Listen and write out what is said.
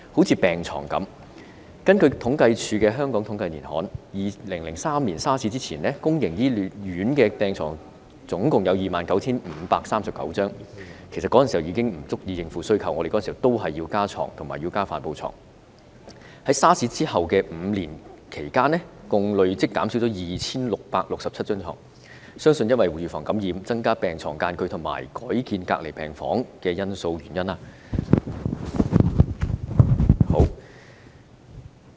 以病床為例，根據政府統計處《香港統計年刊》，在2003年 SARS 發生前，公營醫院共有 29,539 張病床——其實當年已不足以應付需求，我們當年也要增加病床和帆布床——在 SARS 發生後的5年間，累計減少了 2,667 張病床，原因相信是為了預防感染，增加病床之間的距離和改建隔離病房等。